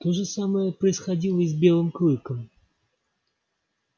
то же самое происходило и с белым клыком